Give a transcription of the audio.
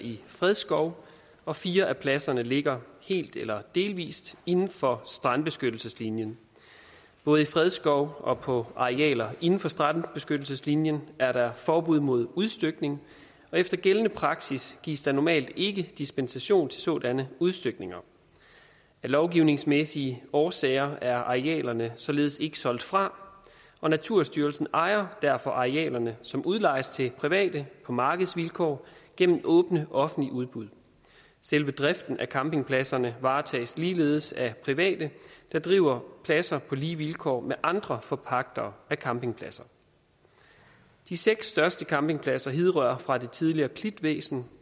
i fredskov og fire af pladserne ligger helt eller delvis inden for strandbeskyttelseslinjen både i fredskov og på arealer inden for strandbeskyttelseslinjen er der forbud mod udstykning og efter gældende praksis gives der normalt ikke dispensation til sådanne udstykninger af lovgivningsmæssige årsager er arealerne således ikke solgt fra og naturstyrelsen ejer derfor arealerne som udlejes til private på markedsvilkår gennem åbne offentlige udbud selve driften af campingpladserne varetages ligeledes af private der driver pladserne på lige vilkår med andre forpagtere af campingpladser de seks største campingpladser hidrører fra det tidligere klitvæsenet